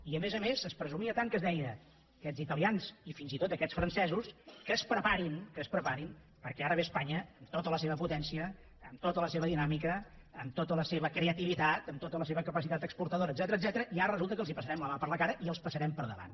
i a més a més es presumia tant que es deia aquests italians i fins i tot aquests francesos que es preparin que es preparin perquè ara ve espanya amb tota la seva potència amb tota la seva dinàmica amb tota la seva creativitat amb tota la seva capacitat exportadora etcètera i ara resulta que els passarem la mà per la cara i els passarem pel davant